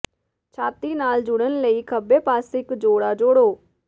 ਛਾਤੀ ਨਾਲ ਜੁੜਨ ਲਈ ਖੱਬੇ ਪਾਸੇ ਇੱਕ ਜੋੜਾ ਜੋੜੋ